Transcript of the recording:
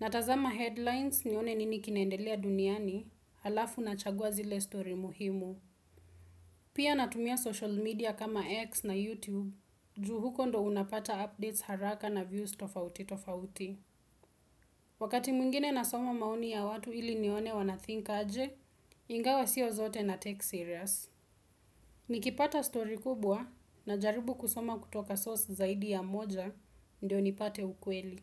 natazama headlines nione nini kinendelea duniani, alafu nachagua zile story muhimu. Pia natumia social media kama X na YouTube, juu huko ndo unapata updates haraka na views tofauti tofauti. Wakati mwingine nasoma maoni ya watu ili nione wanathink aje, ingawa sio zote na take serious. Nikipata story kubwa najaribu kusoma kutoka source zaidi ya moja ndio nipate ukweli.